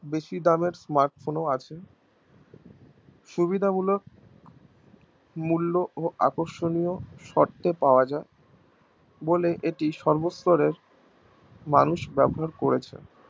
বেশি দামের smart phone ও আছে সুবিধা মূলক মূল্য ও আকর্ষণীয় শর্তে পাওয়া যাই বলে এটি সর্ব স্তরের মানুষ ব্যবহার করেছে